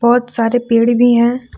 बहुत सारे पेड़ भी हैं।